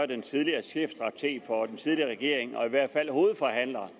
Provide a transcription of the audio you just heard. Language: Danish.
den tidligere chefstrateg for den tidligere regering og i hvert fald hovedforhandler